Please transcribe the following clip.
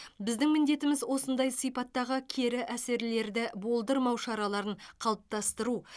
біздің міндетіміз осындай сипаттағы кері әсерлерді болдырмау шараларын қалыптастыру